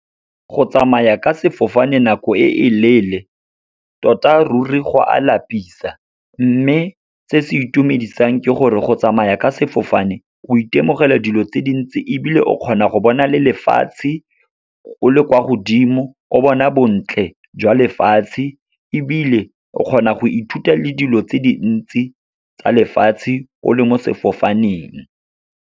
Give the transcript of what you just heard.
Go tsamaya ka sefofane nako e leele, tota ruri go a lapisa. Mme se se itumedisang ke gore, go tsamaya ka sefofane o itemogela dilo tse dintsi, ebile o kgona go bona le lefatshe o le kwa godimo. O bona bontle jwa lefatshe, ebile o kgona go ithuta le dilo tse dintsi tsa lefatshe, o le mo sefofaneng.